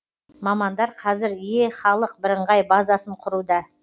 мамандар қазір е халық бірыңғай базасын құруда